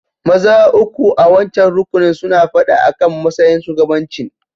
Maza uku a'wancan rukunin suna fada akan matsayin shugabancin.